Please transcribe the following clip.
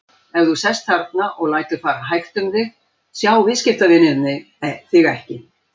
Ef þú sest þarna og lætur fara hægt um þig, sjá viðskiptavinirnir þig ekki.